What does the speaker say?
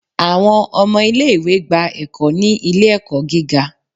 Awọn ọmọ ile-iwe gba ẹkò ni ile ẹkọ gígá